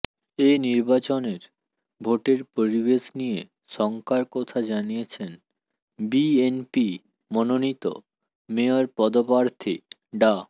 এ নির্বাচনের ভোটের পরিবেশ নিয়ে শঙ্কার কথা জানিয়েছেন বিএনপি মনোনিত মেয়র পদপ্রার্থী ডা